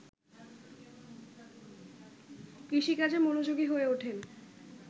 কৃষিকাজে মনোযোগী হয়ে ওঠেন